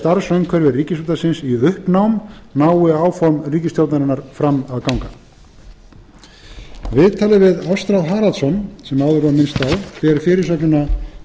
starfsumhverfi ríkisútvarpsins í uppnám nái áform ríkisstjórnarinnar fram að ganga viðtalið við ástráð haraldsson sem áður var minnst á ber fyrirsögnin